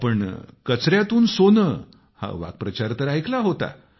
आपण कचऱ्यातून सोनं हा वाक्प्रचार तर ऐकला होता